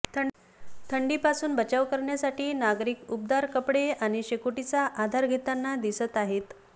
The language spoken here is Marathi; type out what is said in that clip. थंडीपासून बचाव करण्यासाठी नागरिक उबदार कपडे आणि शकोटीचा आधार घेताना दिसत आहेत